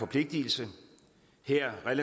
vigtigt det er at